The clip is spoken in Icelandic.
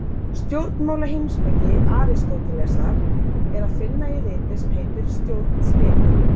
Stjórnmálaheimspeki Aristótelesar er að finna í riti sem heitir Stjórnspekin.